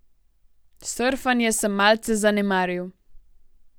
Surfanje sem malce zanemaril.